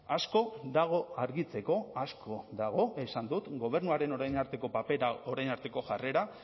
asko dago argitzeko asko dago esan dut gobernuaren orain arteko papera orain arteko jarrera